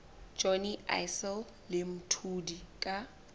johnny issel le mthuli ka